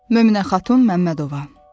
Möminə xatun Məmmədova.